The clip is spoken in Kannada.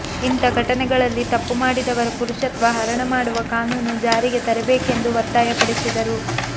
ಇಂಥ ಘಟನೆಗಳಲ್ಲಿ ತಪ್ಪು ಮಾಡಿದವರ ಪುರುಷತ್ವ ಹರಣ ಮಾಡುವ ಕಾನೂನು ಜಾರಿಗೆ ತರಬೇಕೆಂದು ಒತ್ತಾಯ ಪಡಿಸಿದರು